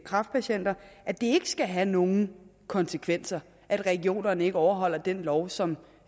kræftpatienter at det ikke skal have nogen konsekvenser at regionerne ikke overholder den lov som